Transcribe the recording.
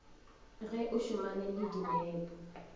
ge o šomane le dinepo